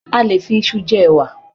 A lè fi isu jẹ ẹwà